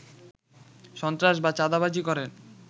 সন্ত্রাস বা চাঁদাবাজি করে